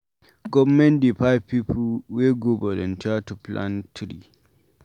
Government dey find pipu wey go volunteer to plant tree.